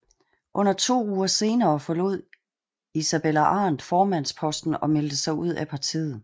Under to uger senere efter forlod Isabella Arendt formandsposten og meldte sig ud af partiet